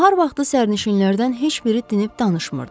Nahar vaxtı səyahçilərdən heç biri dinib danışmırdı.